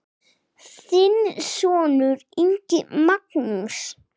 Þinn sonur, Ingi Magnús.